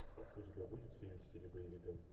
у тебя будет фильм в стиле боевика